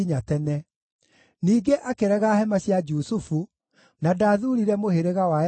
Ningĩ akĩrega hema cia Jusufu, na ndathuurire mũhĩrĩga wa Efiraimu;